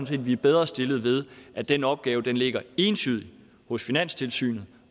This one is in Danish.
set vi er bedre stillet ved at den opgave ligger entydigt hos finanstilsynet